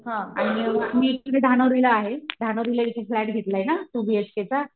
आणि मी एकटी धानावडी ला आहें धानावडीला फ्लॅट घेतलाय ना टू बी एच केचा